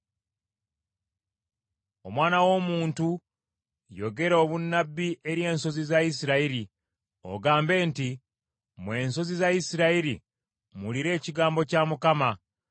“Omwana w’omuntu, yogera obunnabbi eri ensozi za Isirayiri, ogambe nti, Mmwe ensozi za Isirayiri, muwulire ekigambo kya Mukama .